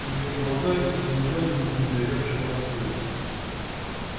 её глаза изумлённо и недоверчиво раскрылись